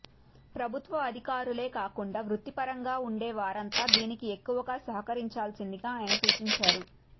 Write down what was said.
ప్రభుత్వ అధికారులే కాకుండా వృత్తిపరంగా ఉండేవారంతా దీనికి ఎక్కువుగా సహకరించాల్సిందిగా ఆయన సూచించారు